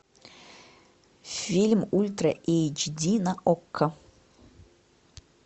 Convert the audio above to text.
фильм ультра эйч ди на окко